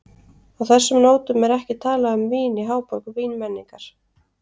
Á þessum nótum er ekki talað um vín í háborg vínmenningar.